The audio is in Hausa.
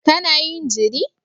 Kana yin jiri?